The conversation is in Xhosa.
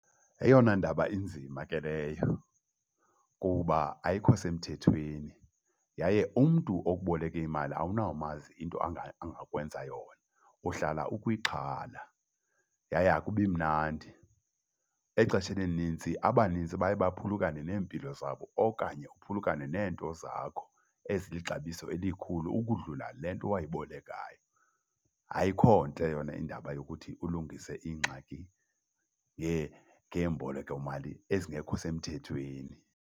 Yeyona ndaba inzima ke leyo kuba ayikho semthethweni yaye umntu okuboleke imali awunamazi into angakwenza yona. Uhlala ukwixhala yaye akubi mnandi. Exesheni elinintsi abanintsi baye baphulukane neempilo zabo okanye uphulukane neento zakho ezilixabiso elikhulu ukudlula le nto wayibolekayo. Ayikho ntle yona indaba yokuthi ulungise iingxaki ngeembolekomali ezingekho semthethweni.